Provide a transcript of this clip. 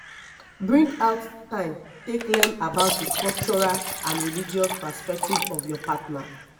bring out time take learn about di cultural and religious perspective of your partner